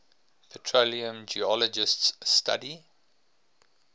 petroleum geologists study